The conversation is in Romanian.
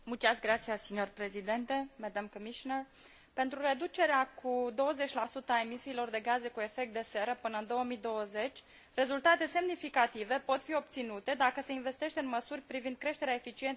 Pentru reducerea cu 20 a emisiilor de gaze cu efect de seră până în 2020, rezultate semnificative pot fi obținute dacă se investește în măsuri privind creșterea eficienței energetice în sectorul clădirilor și al transporturilor.